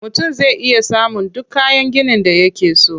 Mutum zai iya samun duk kayan ginin da yake so.